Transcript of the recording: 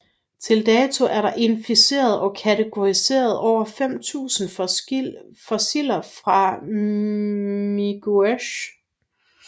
Til dato er der identificeret og kategoriseret over 5000 fossiler fra Miguasha